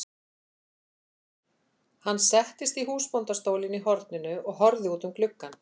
Hann settist í húsbóndastólinn í horninu og horfði út um gluggann.